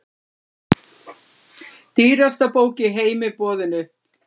Dýrasta bók í heimi boðin upp